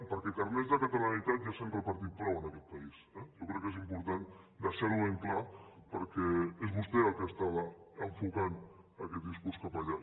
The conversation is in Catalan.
perquè de carnets de catalanitat ja se n’han repartit prou en aquest país eh jo crec que és important deixar ho ben clar perquè és vostè el que estava enfocant aquest discurs cap allà